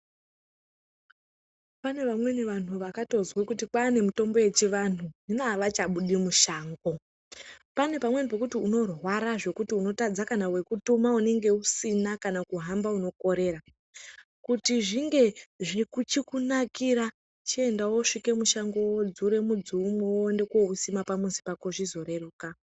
Pane vamweni vanhu vakatozwe kuti kwaane mutombo wechianhu hino avachabudi mushango pane pamweni pokuti unorwara zvekuti unotadza kana wekutuma unenge usina kana kuhamba unokorera ,kuti zvinge zvichikunakira chienda wosvike mushango wodzure mudzi mumwe woende kousima pamhatso pako zvizoreruka.